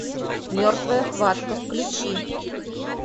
мертвая хватка включи